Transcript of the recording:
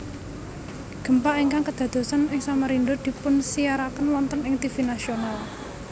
Gempa ingkang kedadosan ing Samarinda dipunsiaraken wonten ing tivi nasional